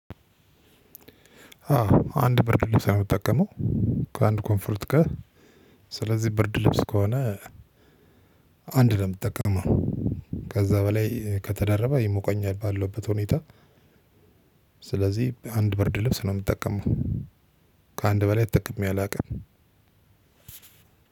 አዎ አንድ ብርድ ልብስ ነው የምጠቀመው ከአንድ ኮንፎርት ጋር። ስለዚህ ብርድ ልብስ ከሆነ አንድ ምትጠቀመው ከዛ በላይ ከተደረበ ይሞቀኛል ባለውበት ሁኔታ። ስለዚህ አንድ ብርድ ልብስ ነው የምጠቀመው። ከአንድ በላይ ተጠቅሜ አላውቅም።